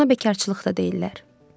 Buna bekarçılıq da deyirlər.